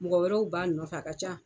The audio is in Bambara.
Mɔgɔ wɛrɛw b'a nɔfɛ a ka ca.